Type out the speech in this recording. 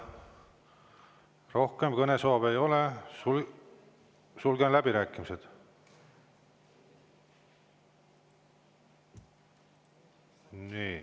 Rohkem kõnesoove ei ole, sulgen läbirääkimised.